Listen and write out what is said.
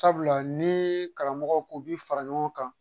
Sabula ni karamɔgɔw ko bi fara ɲɔgɔn kan